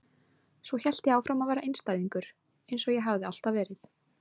Svo hélt ég áfram að vera einstæðingur eins og ég hafði alltaf verið.